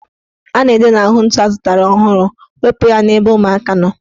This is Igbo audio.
A na-ede n'ahụ ntu azụtara ọhụrụ ''Wepu ya ebe ụmụaka nọ"